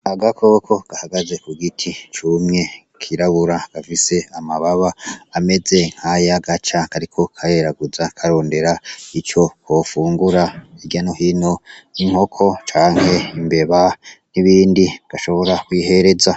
Agakoko gahagaze k'ugiti cumye kirabura, gafise amababa ameze nkaya gaca kariko kareraguza karondera ico kofungura hirya no hino inkoko canke imbeba n'ibindi gashobora kwihereza.